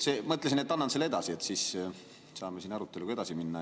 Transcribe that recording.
Mõtlesin, et annan selle edasi, siis saame siin aruteluga edasi minna.